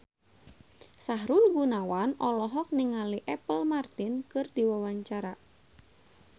Sahrul Gunawan olohok ningali Apple Martin keur diwawancara